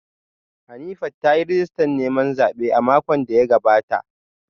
Hanifat ta yi rijistar neman haihuwa a makon da ya gabata